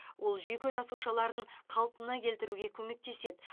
ол жүйке жасушаларын қалпына келтіруге көмектеседі